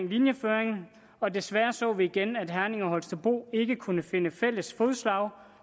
linjeføringen og desværre så vi igen at herning og holstebro ikke kunne finde fælles fodslag